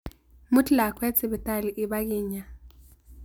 Mut lakweet sibitaali ipkiinya